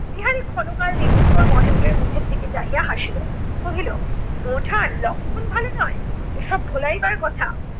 বিহারী ক্ষণকাল নিরুত্তর মহেন্দ্র মুখের দিকে চাহিয়া হাসিলো। কহিলো বৌঠান লক্ষণ ভালো নয়। এসব ভোলাইবার কথা।